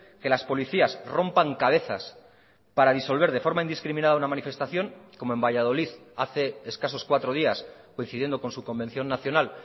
que las policías rompan cabezas para disolver de forma indiscriminada una manifestación como en valladolid hace escasos cuatro días coincidiendo con su convención nacional